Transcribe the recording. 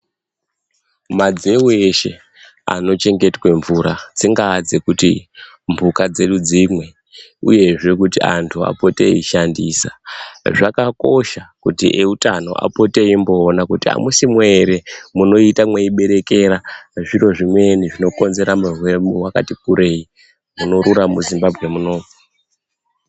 Madzeu eshe anochengetwe mvura dzingaa dzekuti mphuka dzedu dzimwe uyezzve kuti antu apote eishandisa zvakosha kuti eutano apote eimboona kuti amusimwo ere munoita mweiberekera zviro zvimweni zvinokonzera urwere hwakati kurei hunorura muZimbabwe muno.